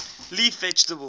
leaf vegetables